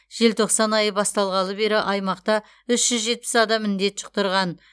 желтоқсан айы басталғалы бері аймақта үш жүз жетпіс адам індет жұқтырған